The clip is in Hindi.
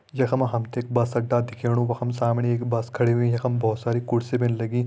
यख मा हम तैं एक बस अड्डा दिखेणु वख म सामणि एक बस खड़ी हुईं यखम बहोत सारी कुर्सी भी लगीं।